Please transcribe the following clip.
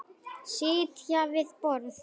Sitja við borð